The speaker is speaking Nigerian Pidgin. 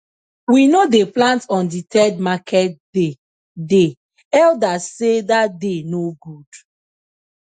we no dey plant on the third market day day elders sey that day no good